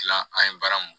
Tilan an ye baara mun